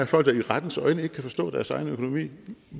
folk der i rettens øjne ikke kan forstå deres egen økonomi